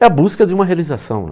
É a busca de uma realização, né?